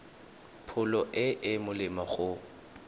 pholo e e molemo go